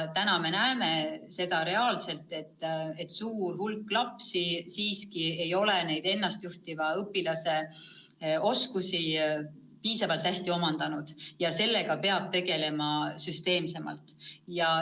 Praegu me näeme reaalselt, et suur hulk lapsi ei ole neid ennast juhtiva õpilase oskusi piisavalt hästi omandanud, ja sellega peab tegelema süsteemsemalt.